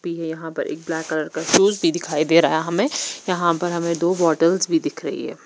P है यहाँ पर एक ब्लैक कलर का पेज भी दिखाई दे रहा है हमे यहाँ पर हमे दो बॉटल्स भी दिख रही है।